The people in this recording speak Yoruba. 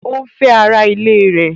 O ń fẹ́ ara ilé ẹ̀.